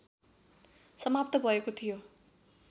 समाप्त भएको थियो